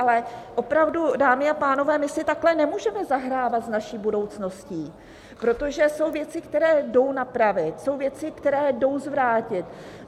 Ale opravdu, dámy a pánové, my si takhle nemůžeme zahrávat s naší budoucností, protože jsou věci, které jdou napravit, jsou věci, které jdou zvrátit.